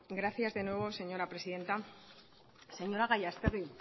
gracias de nuevo señora presidenta señora gallastegui